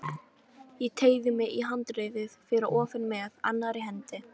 Ég teygði mig í handriðið fyrir ofan með annarri hendi.